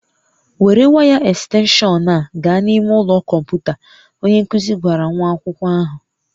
Were waya ekstenshọn a gaa n'ime ụlọ kọmputa, onye nkuzi gwara nwa akwụkwọ ahụ